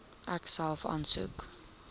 ek self aansoek